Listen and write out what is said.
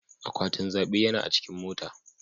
Akwatin zaɓe yana a cikin mota.